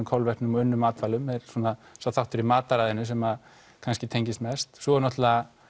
kolvetnum og unnum matvælum er svona þá þáttur í mataræðinu sem kannski tengist mest svo er náttúrulega